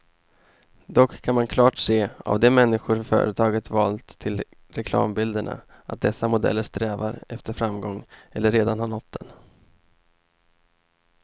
Dock kan man klart se av de människor företaget valt till reklambilderna, att dessa modeller strävar efter framgång eller redan har nått den.